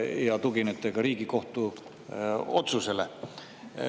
Ja te tuginete ka Riigikohtu otsusele.